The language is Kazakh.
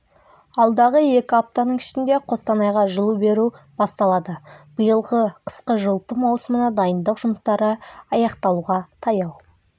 алдағы екі аптаның ішінде қостанайға жылу беру басталады биылғы қысқы жылыту маусымына дайындық жұмыстары аяқталуға таяу